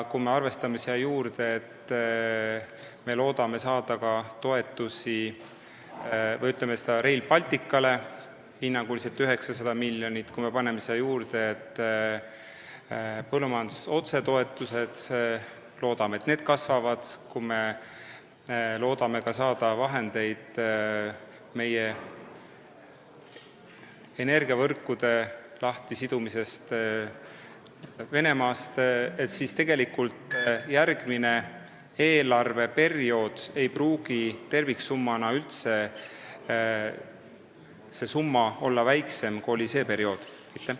Kui me arvestame siia juurde, et me loodame saada ka Rail Balticule hinnanguliselt 900 miljonit toetust, kui me paneme siia juurde põllumajanduse otsetoetused – loodame, et need kasvavad – ning selle, et me loodame saada vahendeid meie energiavõrkude lahtisidumiseks Venemaast, siis näeme, et tegelikult ei pruugi järgmisel eelarveperioodil terviksumma olla väiksem, kui see oli sellel perioodil.